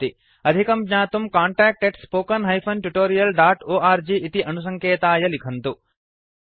अधिकं ज्ञातुं contactspoken tutorialorg इति अणुसङ्केताय लिखन्तु